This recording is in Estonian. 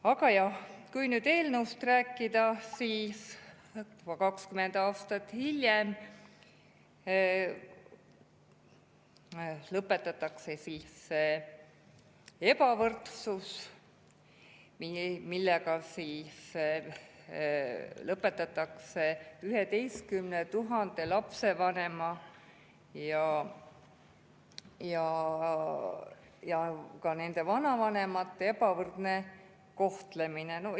Aga jah, kui nüüd eelnõust rääkida, siis 20 aastat hiljem lõpetatakse ebavõrdsus, lõpetatakse 11 000 lapsevanema ja ka vanavanemate ebavõrdne kohtlemine.